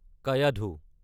Kayadhu (starts near Agarwadi in Risod taluka in Washim district and meets Penganga near Changam Chinchali)